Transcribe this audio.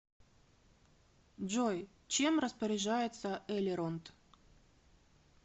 джой чем распоряжается элеронд